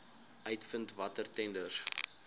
uitvind watter tenders